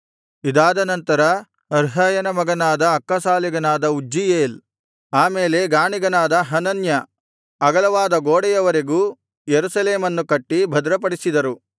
ಇದಾದ ನಂತರ ಹರ್ಹಯನ ಮಗನಾದ ಅಕ್ಕಸಾಲಿಗನಾದ ಉಜ್ಜೀಯೇಲ್ ಆ ಮೇಲೆ ಗಾಣಿಗನಾದ ಹನನ್ಯ ಇವರು ಅಗಲವಾದ ಗೋಡೆಯವರೆಗೂ ಯೆರೂಸಲೇಮನ್ನು ಕಟ್ಟಿ ಭದ್ರಪಡಿಸಿದರು